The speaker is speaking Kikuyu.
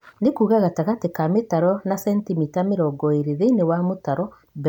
Nĩkuga gatagatĩ ka mĩtaro na sentimita mĩrongo ĩrĩ thĩinĩ wa mũtaro, mbegũ ĩmwe harĩ kĩrĩma